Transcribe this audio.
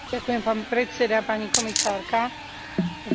V boji proti chudobe hrajú ženy kľúčovú úlohu.